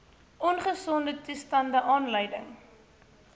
ongesonde toestande aanleiding